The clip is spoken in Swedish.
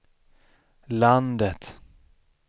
landet